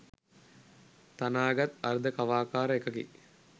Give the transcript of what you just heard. තනා ගත් අර්ධ කවාකාර එකකි.